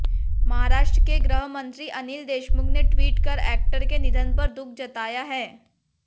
महाराष्ट्र के गृहमंत्री अनिल देशमुख ने ट्वीट कर एक्टर के निधन पर दुख जताया है